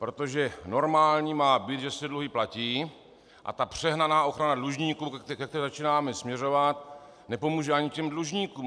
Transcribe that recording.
Protože normální má být, že se dluhy platí, a ta přehnaná ochrana dlužníků, ke které začínáme směřovat, nepomůže ani těm dlužníkům.